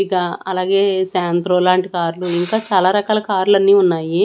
ఇక అలాగే శాంత్రో లాంటి కార్లు ఇంకా చాలా రకాల కార్లు అన్నీ ఉన్నాయి.